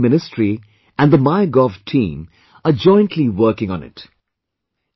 The HRD ministry and the MyGov team are jointly working on it